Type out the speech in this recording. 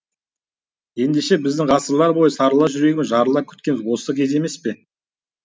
ендеше біздің ғасырлар бойы сарыла жүрегіміз жарыла күткеніміз осы кез емес пе